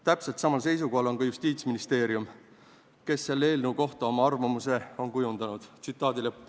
Täpselt samal seisukohal on ka Justiitsministeerium, kes on selle eelnõu kohta oma arvamuse kujundanud.